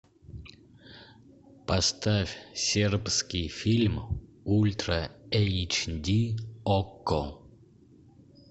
поставь сербский фильм ультра эйч ди окко